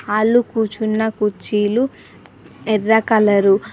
ఆల్లు కూర్చున్న కుర్చీలు ఎర్ర కలరు .